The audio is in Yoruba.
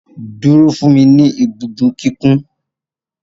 Duro fun mi ni ibudo kikun